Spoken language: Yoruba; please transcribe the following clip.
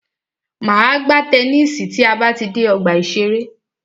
Máa gbá tennisi tí a bá ti dé ọgbà ìṣẹ̀rẹ́.